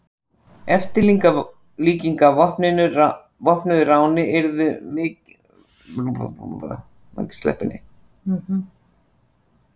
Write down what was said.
eftirlíking af vopnuðu ráni yrði miklu áhrifameiri en raunverulegt rán